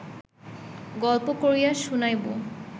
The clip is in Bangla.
গল্প করিয়া শুনাইব